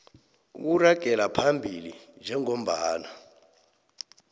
okuragela phambili njengombana